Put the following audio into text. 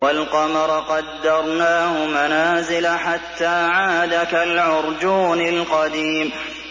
وَالْقَمَرَ قَدَّرْنَاهُ مَنَازِلَ حَتَّىٰ عَادَ كَالْعُرْجُونِ الْقَدِيمِ